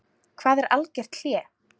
Hvað er algert hlé?